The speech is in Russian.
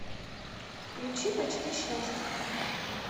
включи почти счастье